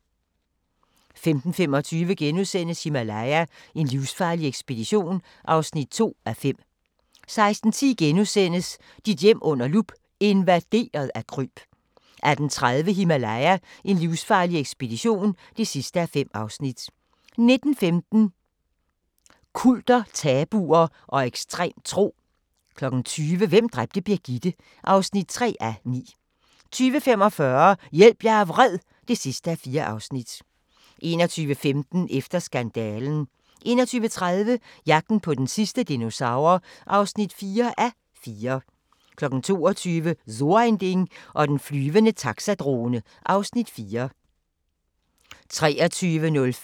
15:25: Himalaya: En livsfarlig ekspedition (2:5)* 16:10: Dit hjem under lup – invaderet af kryb * 18:30: Himalaya: En livsfarlig ekspedition (5:5) 19:15: Kulter, tabuer og ekstrem tro 20:00: Hvem dræbte Birgitte? (3:9) 20:45: Hjælp, jeg er vred (4:4) 21:15: Efter skandalen 21:30: Jagten på den sidste dinosaur (4:4) 22:00: So ein Ding og den flyvende taxadrone (Afs. 4) 23:05: Walaas vilje